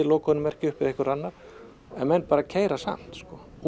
upp lokunarmerki eða einhver annar en menn bara keyra samt